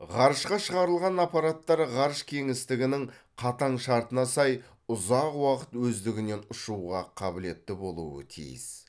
ғарышқа шығарылған аппараттар ғарыш кеңістігінің қатаң шартына сай ұзақ уақыт өздігінен ұшуға қабілетті болуы тиіс